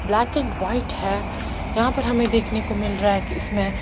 black and white है यहाँ पर हमे देखने को मिल रहा है की इसमे--